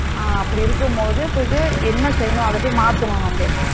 அ அப்படி இருக்கும்போது போயிட்டு என்ன செய்யணும் அதை போய் மாத்தணும் நம்ம